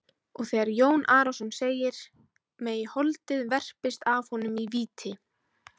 Og þegar Jón Arason segir:-Megi holdið verpist af honum í víti.